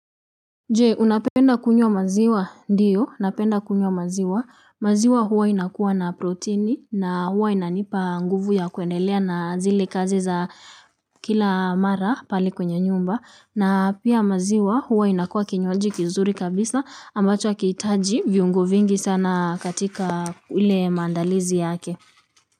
Je unapenda kunywa maziwa ndiyo napenda kunywa maziwa, maziwa huwa inakuwa na proteini na huwa inanipa nguvu ya kuendelea na zile kazi za kila mara pale kwenye nyumba na pia maziwa huwa inakuwa kinywaji kizuri kabisa ambacho hakihitaji viungo vingi sana katika ule maandalizi yake.